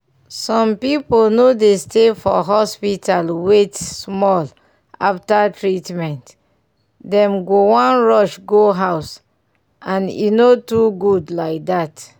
some pipu no dey stay for hospital wait small after treatment dem go wan rush go house and e no too good like dat.